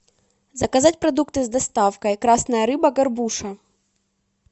заказать продукты с доставкой красная рыба горбуша